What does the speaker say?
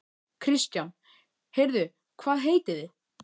Kristján: Heyrðu hvað heitið þið?